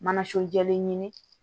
Mana so jɛlen ɲini